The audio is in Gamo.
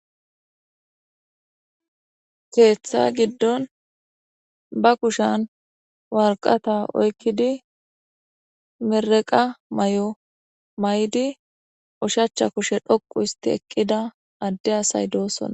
keeththa giddon ba kushan walqata oykkidi mereqa may7o may7di ushacha kushe dhoqu isti eqqida adde asay doossona